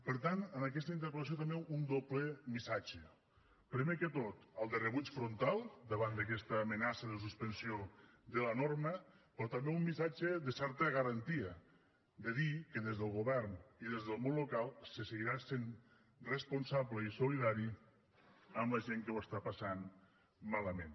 per tant en aquesta interpel·lació també un doble missatge primer de tot el de rebuig frontal davant d’aquesta amenaça de suspensió de la norma però també un missatge de certa garantia de dir que des del govern i des del món local se seguirà sent responsable i solidari amb la gent que ho està passant malament